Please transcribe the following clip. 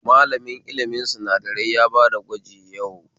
Malamin ilimin sinadarai ya bada gwaji yau